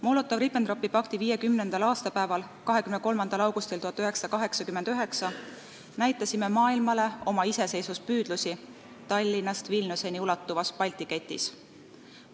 Molotovi-Ribbentropi pakti aastapäeval, 23. augustil 1989 näitasime maailmale oma iseseisvuspüüdlusi Tallinnast Vilniuseni ulatuvas Balti ketis.